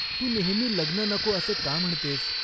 तू नेहमी लग्न नको असे का म्हणतेस ?